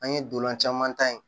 An ye dolan caman ta yen